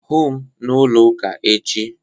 Hụụ m n'ụlọ ụka echi